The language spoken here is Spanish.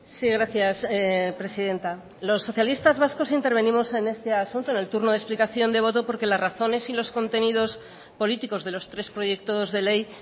sí gracias presidenta los socialistas vascos intervenimos en este asunto en el turno de explicación de voto porque las razones y los contenidos políticos de los tres proyectos de ley